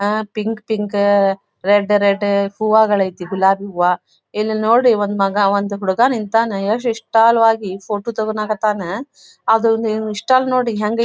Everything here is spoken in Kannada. ಆ ಪಿಂಕ್ ಪಿಂಕ್ ರೆಡ್ ರೆಡ್ ಹೂವ್ಗಳು ಐತಿ ಗುಲಾಬಿ ಹೂವ ಇಲ್ಲಿ ನೋಡಿ ಒಂದು ಮಗ ಒಂದು ಹುಡುಗ ನಿಂತಾನ ಎಷ್ಟು ಇಷ್ಟಲವಾಗಿ ಫೋಟೋ ತೆಗೀಲಿಕ್ಕೆ ಹತ್ತಾನ ಅದು ಇಸ್ಟಾಲ್ ನೋಡಿ ಹೆಂಗೈತಿ.